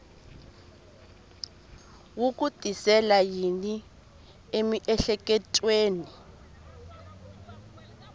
wu ku tisela yini emiehleketweni